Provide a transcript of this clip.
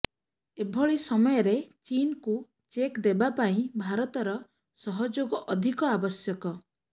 ଏଭଳି ସମୟରେ ଚୀନକୁ ଚେକ୍ ଦେବା ପାଇଁ ଭାରତର ସହଯୋଗ ଅଧିକ ଆବଶ୍ୟକ